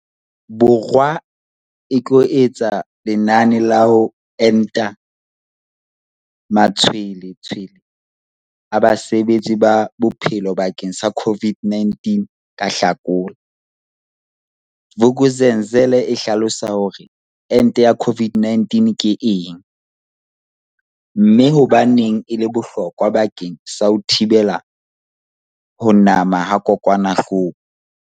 Bo rwa e tlo etsa lenane la ho enta matshwele tshwele a basebetsi ba bophelo bakeng sa COVID-19 ka Hlakola, Vuk'uzenzele e hlalosa hore ente ya COVID-19 ke eng, mme hobaneng e le bohlokwa bakeng sa ho thibela ho nama ha kokwanahloko.